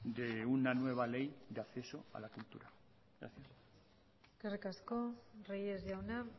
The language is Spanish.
de una nueva ley de acceso a la cultura gracias eskerrik asko reyes jauna